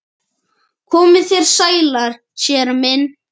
Komið þér sælir séra minn